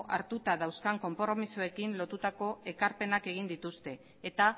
hartuta dauzkan konpromisoekin lotutako ekarpenak egin dituzte eta